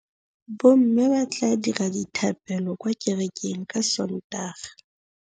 Bommê ba tla dira dithapêlô kwa kerekeng ka Sontaga.